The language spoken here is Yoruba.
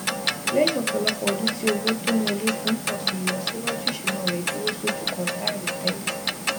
lẹyìn ọpọlọpọ ọdún tí owó tó ń wọlé fún un pọ si ìlọsíwájú ìṣúná rẹ dúró sójú kan láìròtẹlẹ